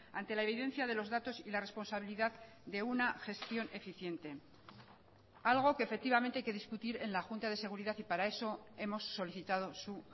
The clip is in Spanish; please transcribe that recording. ante la evidencia de los datos y la responsabilidad de una gestión eficiente algo que efectivamente hay que discutir en la junta de seguridad y para eso hemos solicitado su